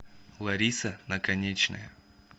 лариса наконечная